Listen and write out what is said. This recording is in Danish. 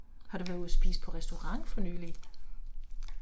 Har du været ude og spise på restaurant for nylig?